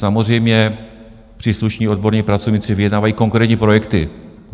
Samozřejmě, příslušní odborní pracovníci vyjednávají konkrétní projekty.